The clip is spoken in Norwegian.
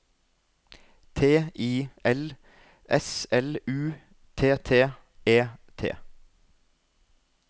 T I L S L U T T E T